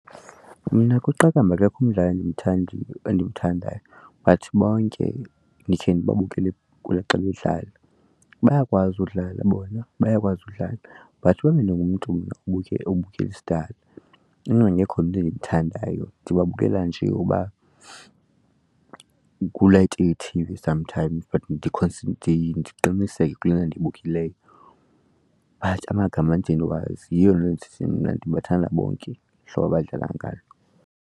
Mna kwiqakamba akekho endimthandiyo endimthanda endimthandayo but bonke ndikhe ndibabukele kula xa bedlala. Bayakwazi udlala bona bayakwazi udlala but uba bendingumntu mna obukela esidala ngekho mntu endimthandayo ndibabukela nje uba kuba kulayite ithivi sometimes but ndiqiniseke kulena ndiyibukeleyo but amagama andide ndiwazi. Yiyo le nto ndisithi mna ndibathanda bonke hlobo abadlala ngalo.